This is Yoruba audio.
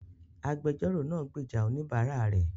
Agbẹjọ́rò náà gbèjà oníbàárà rẹ̀